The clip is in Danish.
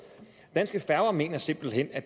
danske færger mener simpelt hen at